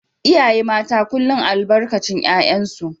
iyaye mata kullum albarkacin 'ya'yansu